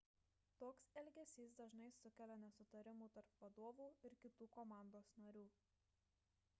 toks elgesys dažnai sukelia nesutarimų tarp vadovų ir kitų komandos narių